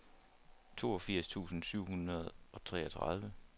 toogfirs tusind syv hundrede og treogtredive